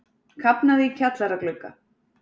Kafnaði í kjallaraglugga